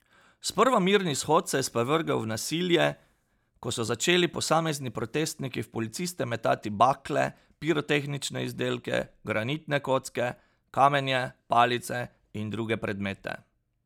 Sprva mirni shod se je sprevrgel v nasilje, ko so začeli posamezni protestniki v policiste metati bakle, pirotehnične izdelke, granitne kocke, kamenje, palice in druge predmete.